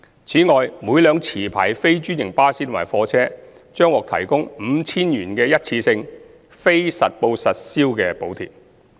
此外，每輛持牌非專營巴士及貨車將獲提供 5,000 元的一次性非實報實銷補貼。